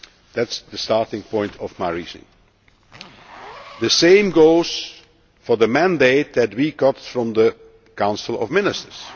system. That is the starting point of my reasoning. The same goes for the mandate we received from the Council of